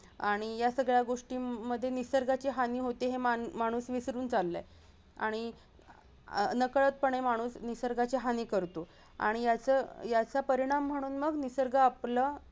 आणि यासगळ्या गोष्टींमधुन निसर्गाची हानी होतेय हे माणू-माणूस विसरून चाललाय आणि अह नकळत पणे माणूस निसर्गाची हानी करतो आणि याच-याचा परिणाम म्हणून मग निसर्ग आपला